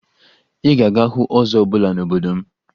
Ị gaghị ahụ ọzọ ọbụla n'obodo m